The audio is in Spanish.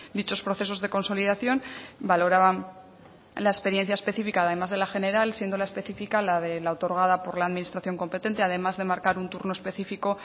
dichos procesos de consolidación valoraban la experiencia específica además de la general siendo la específica la otorgada por la administración competente además de marcar un turno específico